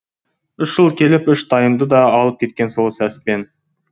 үш жыл келіп үш тайымды да алып кеткен сол сәспен